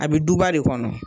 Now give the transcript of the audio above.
A bɛ duba de kɔnɔ